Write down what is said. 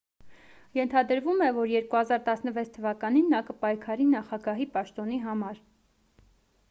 ենթադրվում է որ 2016 թվականին նա կպայքարի նախագահի պաշտոնի համար